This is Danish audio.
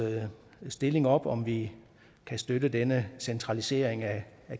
stilling op om vi kan støtte denne centralisering af